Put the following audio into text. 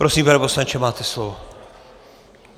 Prosím, pane poslanče, máte slovo.